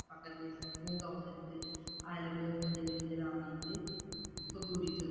பக்கத்திலேயே பூங்கா ஒண்ணு இருக்கு அதுல போய் ஊஞ்சல் கீஞ்சல் ஆடிட்டு